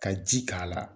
Ka ji k'a la